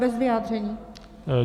Bez vyjádření.